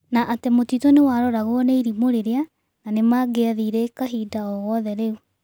Na atĩ mũtitũ nĩwaroragwo nĩ irimũ rĩrĩa na nĩmangiathire kahinda o gothe rĩu.